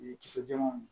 Ni kisɛ jɛmanw ye